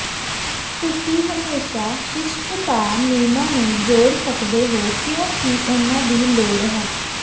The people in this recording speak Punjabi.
ਤੁਸੀਂ ਹਮੇਸ਼ਾਂ ਸ਼ਿਸ਼ਟਤਾ ਨਿਯਮਾਂ ਨੂੰ ਜੋੜ ਸਕਦੇ ਹੋ ਕਿਉਂਕਿ ਉਨ੍ਹਾਂ ਦੀ ਲੋੜ ਹੈ